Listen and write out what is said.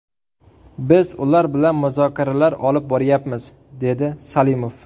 Biz ular bilan muzokaralar olib boryapmiz”, dedi Salimov.